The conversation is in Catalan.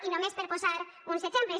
i només per posar uns exemples